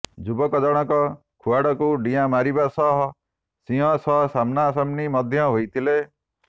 ଯୁବକ ଜଣକ ଖୁଆଡ଼କୁ ଡିଆଁ ମାରିବା ସହ ସିଂହ ସହ ସାମ୍ନା ସାମ୍ନି ମଧ୍ୟ ହୋଇଥିଲେ